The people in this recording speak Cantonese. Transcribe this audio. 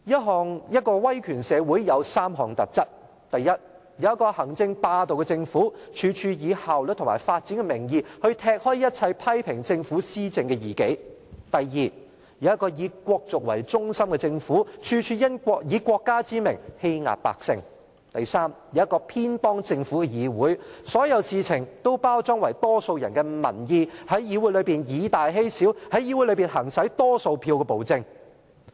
主席，威權社會有3項特質：第一，有一個行政霸道的政府，處處以效率及發展的名義來踢走一切批評政府施政的異己；第二，有一個以國族為中心的政府，處處以國家之名，欺壓百姓；以及第三，有一個偏幫政府的議會，所有事情均包裝成為多數人的民意，在議會內以大欺小，在議會內行使多數票的暴政。